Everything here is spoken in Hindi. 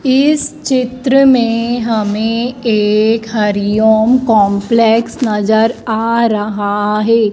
इस चित्र में हमें एक हरिओम कंपलेक्स नजर आ रहा है।